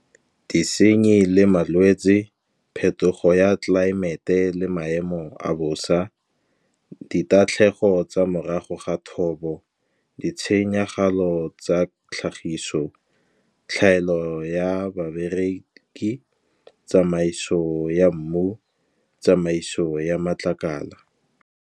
Disenyi le malwetsi phetogo ya tlelaemete, le maemo a bosa. Ditatlhegelo tsa morago ga thobo di tshenyagalo tsa tlhagiso, tlhaelo ya babereki, tsamaiso ya mmu, tsamaiso ya matlakala.